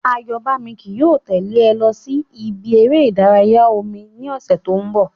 Àyọ́bámi ki yóò tẹ́lè ẹ lọ sí ibi eré ìdárayá omi ní ọ̀sẹ̀ tí ó ń bọ̀